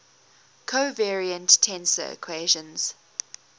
covariant tensor equations